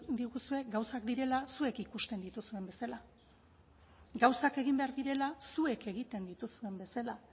diguzue gauzak direla zuek ikusten dituzuen bezala gauzak egin behar direla zuek egiten dituzuen bezala